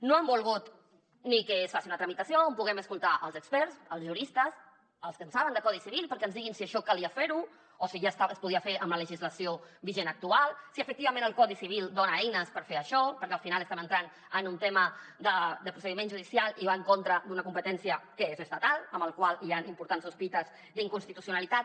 no han volgut ni que es faci una tramitació on puguem escoltar els experts els juristes els que en saben de codi civil perquè ens diguin si això calia fer ho o si ja es podia fer amb la legislació vigent actual si efectivament el codi civil dona eines per fer això perquè al final estem entrant en un tema de procediment judicial i va en contra d’una competència que és estatal amb la qual cosa hi han importants sospites d’inconstitucionalitat